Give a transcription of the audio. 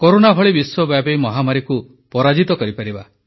corona ଭଳି ବିଶବ୍ୟାପୀ ମହାମାରୀକୁ ପରାଜିତ କରି ପାରିବା